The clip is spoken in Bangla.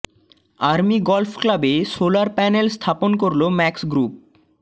আর্মি গলফ ক্লাবে সোলার প্যানেল স্থাপন করলো ম্যাক্স গ্রুপ